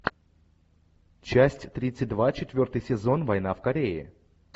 часть тридцать два четвертый сезон война в корее